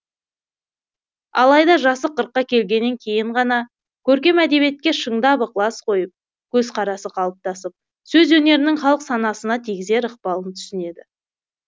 алайда жасы қырыққа келгеннен кейін ғана көркем әдебиетке шындап ықылас қойып көзқарасы қалыптасып сөз өнерінің халық санасына тигізер ықпалын түсінеді